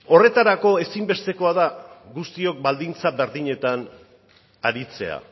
horretarako ezin bestekoa da guztiok baldintza berdinetan aritzea